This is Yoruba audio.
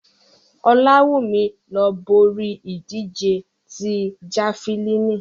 Olawumi lo bori idije ti Jafilini